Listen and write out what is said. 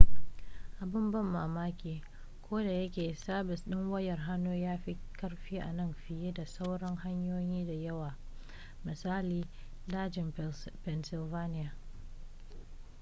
abin ban mamaki ko da yake sabis ɗin wayar hannu ya fi ƙarfi a nan fiye da sauran hanyoyin da yawa misali daji na pennsylvania